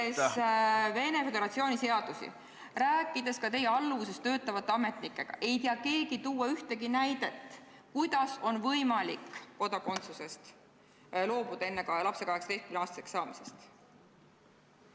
... siis uurides Venemaa Föderatsiooni seadusi ja rääkides ka teie alluvuses töötavate ametnikega, ei tea keegi tuua ühtegi näidet, kuidas oleks lapsel võimalik kodakondsusest loobuda enne 18-aastaseks saamist.